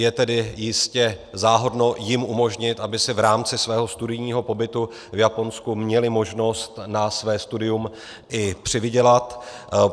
Je tedy jistě záhodno jim umožnit, aby si v rámci svého studijního pobytu v Japonsku měli možnost na své studium i přivydělat.